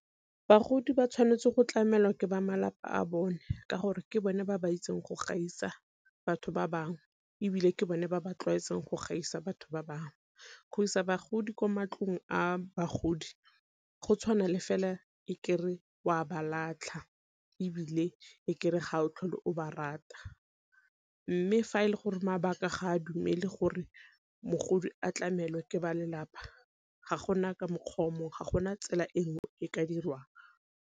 Bagodi ba tshwanetse go tlamelwa ke ba malapa a bone ka gore ke bone ba ba itseng go gaisa batho ba bangwe ebile ke bone ba ba tlwaetseng go gaisa batho ba bangwe. Go isa bagodi kwa mantlong a bagodi go tshwana le fela e kere o a ba latlha, ebile e kere ga o tlhole o ba rata. Mme fa e le gore mabaka ga a dumele gore mogodi a tlamelwe ke ba lelapa ga gona ka mokgwa o momgwe ga gona tsela e ngwe e ka dirwang.